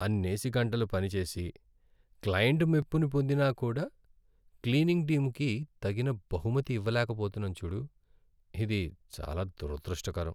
అన్నేసి గంటలు పని చేసి, క్లయింట్ మెప్పుని పొందినా కూడా, క్లీనింగ్ టీముకి తగిన బహుమతి ఇవ్వలేక పోతున్నాం చూడు. ఇది చాలా దురదృష్టకరం!